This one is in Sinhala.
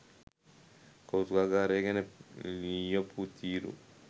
කෞතුකාගාරය ගැන ලියපු තීරු